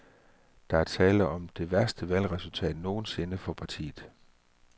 Der er tale om det værste valgresultat nogensinde for partiet.